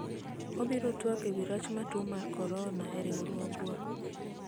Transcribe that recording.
wabiro twak ewi rach ma tuo mar Korona e riwruogwa